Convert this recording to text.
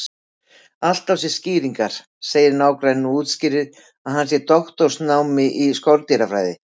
Allt á sér skýringar, segir nágranninn og útskýrir að hann sé í doktorsnámi í skordýrafræði.